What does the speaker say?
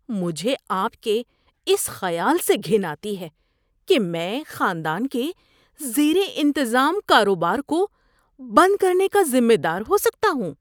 مجھے آپ کے اس خیال سے گھن آتی ہے کہ میں خاندان کے زیر انتظام کاروبار کو بند کرنے کا ذمہ دار ہو سکتا ہوں۔